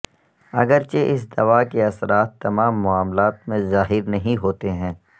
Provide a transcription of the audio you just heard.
اگرچہ اس دوا کے اثرات تمام معاملات میں ظاہر نہیں ہوتے ہیں